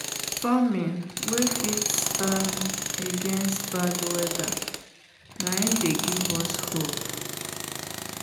farming wen fit stand against bad weather na dey give us hope